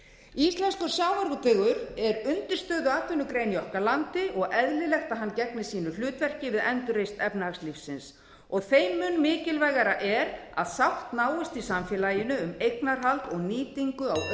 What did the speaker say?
íslenskur sjávarútvegur er undirstöðuatvinnugrein í okkar landi og eðlilegt að hann gegni sínu hlutverki við endurreisn efnahagslífsins og þeim mun mikilvægara er að sátt náist í samfélaginu um eignarhald og nýtingu á auðlindum